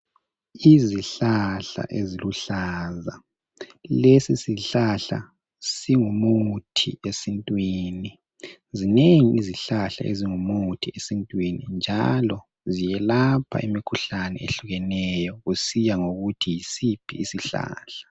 Izihlahla eziluhlaza lesi sihlahla singumuthi esintwini zingengi izihlahla ezingumuthi esintwini njalo ziyelapha imikhuhlane ehlukeneyo kusiya ngokuthi yisiphi isihlahla